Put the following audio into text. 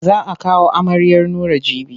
Za a kawo amaryar Nura jibi.